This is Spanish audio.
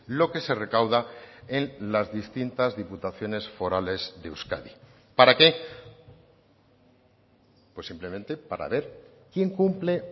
lo que se recauda en las distintas diputaciones forales de euskadi para qué pues simplemente para ver quien cumple